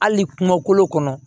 Hali kumakolo kɔnɔ